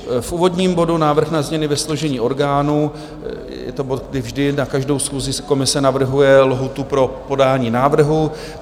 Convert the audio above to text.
V úvodním bodu Návrh na změny ve složení orgánů - je to bod, kdy vždy na každou schůzi komise navrhuje lhůtu pro podání návrhu.